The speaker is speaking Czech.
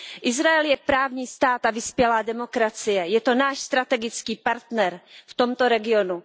Izrael je právní stát a vyspělá demokracie, je to náš strategický partner v tomto regionu.